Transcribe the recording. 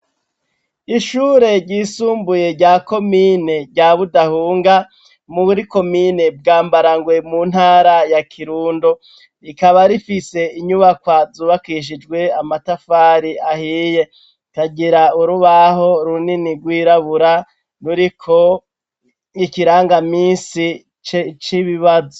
Ishure ryisumbuye, rya komine, rya Budahunga, muri komine Bwambarangwe, mu ntaraya ya Kirundo; rikaba rifise inyubakwa, zubakishijwe amatafari ahiye; kagira urubaho runini, rwirabura, ruriko ikirangaminsi c'ibibazo.